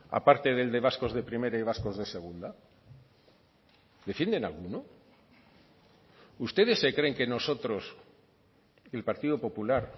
a parte del de vascos de primera y vascos de segunda defienden alguno ustedes se creen que nosotros el partido popular